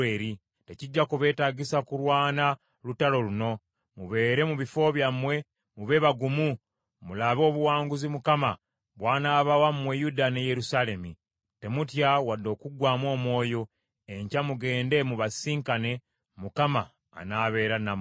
Tekijja kubeetagisa kulwana lutalo luno. Mubeere mu bifo byammwe, mube bagumu mulabe obuwanguzi Mukama bw’anaabawa mmwe Yuda ne Yerusaalemi. Temutya wadde okuggwaamu omwoyo; enkya mugende mubasisinkane, Mukama anaabeera nammwe.’ ”